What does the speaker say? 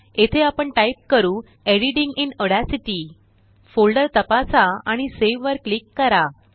येथे आपण टाईप करूEditing इन ऑडासिटी फोल्डर तपासा आणि सावे वर क्लिक करा